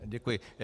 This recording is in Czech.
Děkuji.